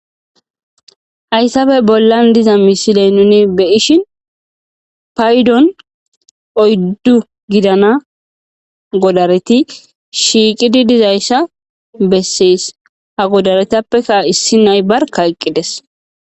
hayssafe bollan diza misiley nuni be ishin paydon oyddu gidana godareti shiiqidi dizayssa bessees ha godaretappekka issi nay barka eqqides